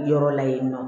Yɔrɔ la yen nɔ